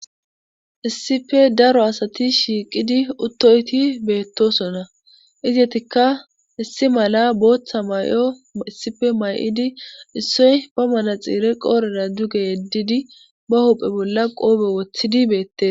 Issife daro asati shiiqidi uttoyti beettosona iziytikka issi mala booththa may7o issife may7idi issoy ba manaxiire qoorera duge yeddidi ba huphe bolla qoobe woththidi beette.